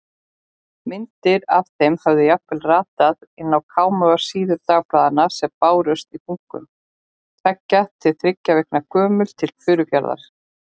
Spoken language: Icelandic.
Myndir af þeim höfðu jafnvel ratað inn á kámugar síður dagblaðanna sem bárust í bunkum, tveggja til þriggja vikna gömul, til Furufjarðar.